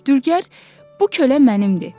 Dülgər: “Bu kölə mənimdir.